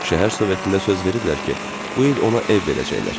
Şəhər Sovetində söz veriblər ki, bu il ona ev verəcəklər.